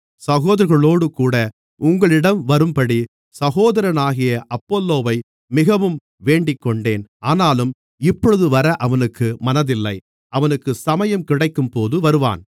சகோதரர்களோடுகூட உங்களிடம் வரும்படி சகோதரனாகிய அப்பொல்லோவை மிகவும் வேண்டிக்கொண்டேன் ஆனாலும் இப்பொழுது வர அவனுக்கு மனதில்லை அவனுக்கு சமயம் கிடைக்கும்போது வருவான்